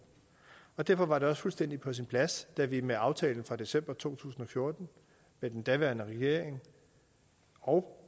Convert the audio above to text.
og derfor var det også fuldstændig på sin plads da vi med aftalen fra december to tusind og fjorten med den daværende regering og